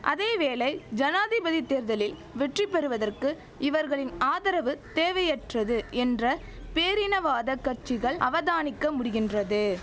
அதேவேளை ஜனாதிபதி தேர்தலில் வெற்றி பெறுவதற்கு இவர்களின் ஆதரவு தேவையற்றது என்ற பேரினவாத கட்சிகள் அவதானிக்க முடிகின்றது